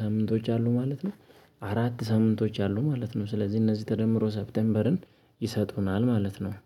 ሳምንቶች አሉ? ማለት ነው አራት ሳምንቶች አሉ ማለት ነው። ስለዚህ እነዚህ ተደምሮ ሰፕቴምበርን ይሰጡናል ማለት ነው